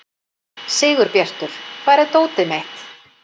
Sigurbjartur, hvar er dótið mitt?